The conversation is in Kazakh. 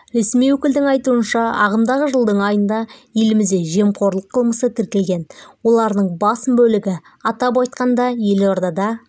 ресми өкілдің айтуынша ағымдағы жылдың айында елімізде жемқорлық қылмысы тіркелген олардың басым бөлігі атап айтқанда елордада